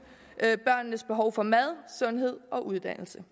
børnenes behov for mad sundhed og uddannelse